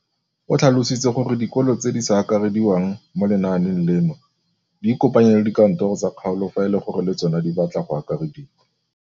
O tlhalositse gore dikolo tse di sa akarediwang mo lenaaneng leno di ikopanye le dikantoro tsa kgaolo fa e le gore le tsona di batla go akarediwa.